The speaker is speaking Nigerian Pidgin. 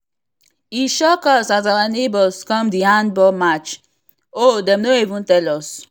e shock us as our neighbors come the handball match o dem no even tell us